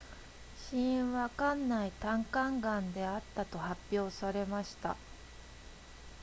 死因は肝内胆管癌であったと発表されました